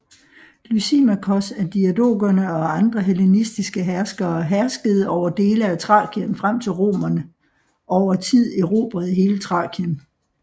Lysimakos af diadokerne og andre hellenistiske herskere herskede over dele af Thrakien frem til romerne over tid erobrede hele Thrakien